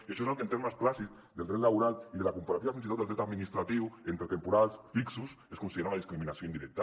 i això és el que en termes clàssics del dret laboral i de la comparativa fins i tot del dret administratiu entre temporals fixos es considera una discriminació indirecta